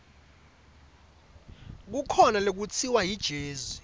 kukhona lekutsiwa yijezi